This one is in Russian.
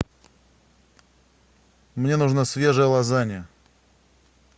мне нужна свежая лазанья